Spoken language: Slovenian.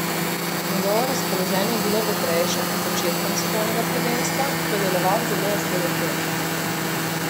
Njegovo razpoloženje je bilo vedrejše pred začetkom svetovnega prvenstva, ko je deloval zelo osredotočeno.